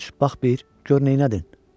Coş bax bir, gör neylədin?